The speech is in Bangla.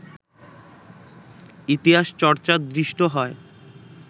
ইতিহাসচর্চা দৃষ্ট হয়